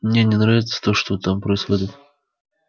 мне не нравится то что там происходит